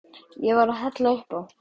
Ég var að hella upp á.